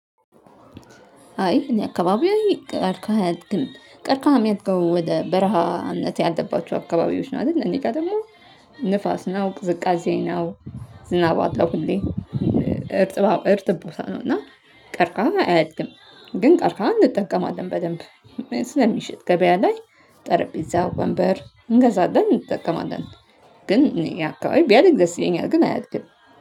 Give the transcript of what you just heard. አይ እኔ አካባቢው ቀርከሃም አያድግም። ቀርከሃም ሚያድገው ወደ በረሃ እምነት ያለባቸው አካባቢዎች ናቸው። እደል እኔ ጋ ደግሞ ንፋስ ነው ቅዝቃዜ ነው። ዝናብ አለው ሁሌ እ እርጥብ እርጥብ ቦታ ነው። እና ቀርቃሃ አያድግም። ግን ቀርቃሃን እንጠቀማለን በደንብ ስለሚሸጥ ገበያ ላይ ጠረጴዛ ወንበር እንገዛለን እጠቀማለን። ግን እኛ አካባቢ ቢያድግ ደስ ይለኛል ግን አያድግም